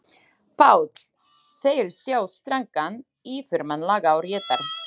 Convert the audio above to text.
PÁLL: Þeir sjá strangan yfirmann laga og réttar.